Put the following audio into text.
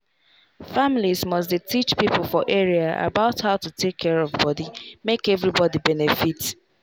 families must dey teach people for area about how to take care of body make everybody benefit.